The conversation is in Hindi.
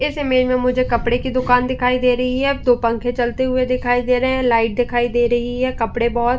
इस इमे में मुझे कपडे की दुकान दिखाई दे रही है दो पंखे चलते हुए दिखाई दे रहे हैं लाइट दिखाई दे रही है। कपडे बहोत --